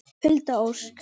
Hulda Ósk.